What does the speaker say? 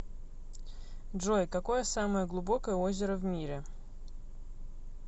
джой какое самое глубокое озеро в мире